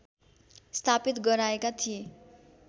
स्थापित गराएका थिए